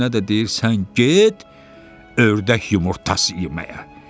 O birisinə də deyir: sən get ördək yumurtası yeməyə.